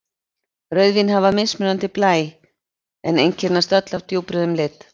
Rauðvín hafa mismunandi blæ en einkennast öll af djúprauðum lit.